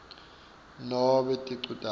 nobe ticu takho